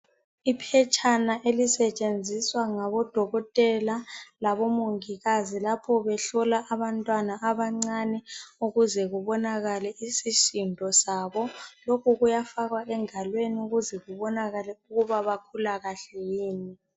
Iphetshana elisetshenziswa ngabodokotela labomongikazi lapho behlola abantwana abancane ukuze kubonakale isisindo sabo lokhu kuyafakwa engalweni ukuze kubonakale ukuba bakhula kahle yini.